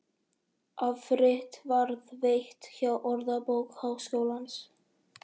Afrit varðveitt hjá Orðabók Háskólans.